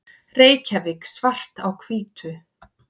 Reykjavík, Svart á hvítu.